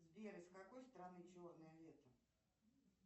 сбер из какой страны черное лето